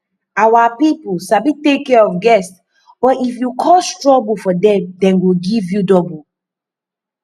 our people sabi take care of guest but if you cause problem for dem dem go give you double